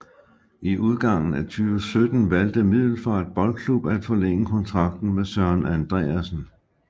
I udgangen af 2017 valgte Middelfart Boldklub at forlænge kontrakten med Søren Andreasen